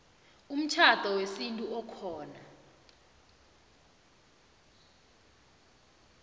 umtjhado wesintu okhona